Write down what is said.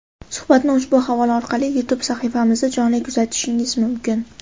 Suhbatni ushbu havola orqali YouTube sahifamizda jonli kuzatishingiz mumkin!.